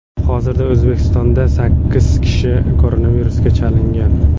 Hozirda O‘zbekistonda sakkiz kishi koronavirusga chalingan.